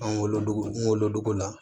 An wolodugu an wolodogo la